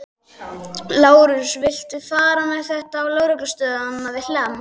Lárus, viltu fara með þetta á lögreglustöðina við Hlemm?